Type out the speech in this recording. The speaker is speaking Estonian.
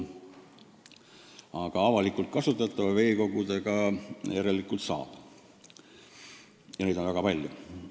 Aga avalikult kasutatavat veekogu järelikult saab, ja neid on väga palju.